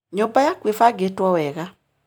Nyũmba yaku ĩbangĩtwo wega.